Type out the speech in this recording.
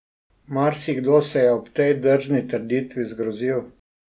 Marsikdo se je ob tej drzni trditvi zgrozil.